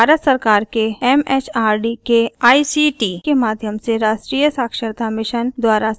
यह भारत सरकार के एमएचआरडी के आईसीटी के माध्यम से राष्ट्रीय साक्षरता mission द्वारा समर्थित है